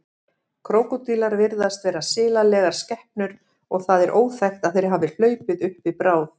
Krókódílar virðast vera silalegar skepnur og það er óþekkt að þeir hafi hlaupið uppi bráð.